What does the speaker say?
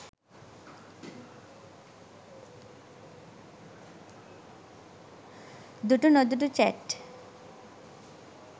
dutunodutu chat